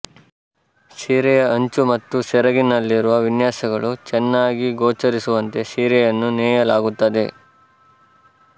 ಸೀರೆಯ ಅಂಚು ಮತ್ತು ಸೆರಗಿನಲ್ಲಿರುವ ವಿನ್ಯಾಸಗಳು ಚೆನ್ನಾಗಿಗೋಚರಿಸುವಂತೆ ಸೀರೆಯನ್ನು ನೇಯಲಾಗುತ್ತದೆ